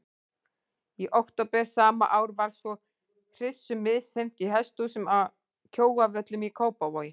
Í október sama ár var svo hryssu misþyrmt í hesthúsum að Kjóavöllum í Kópavogi.